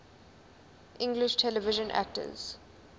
english television actors